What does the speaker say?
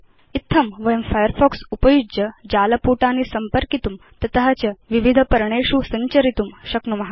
इत्थं वयं फायरफॉक्स उपयुज्य जालपुटानि सम्पर्कितुं तत च विविध पर्णेषु सञ्चरितुं शक्नुम